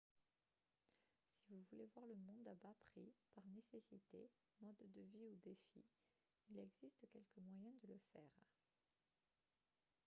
si vous voulez voir le monde à bas prix par nécessité mode de vie ou défi il existe quelques moyens de le faire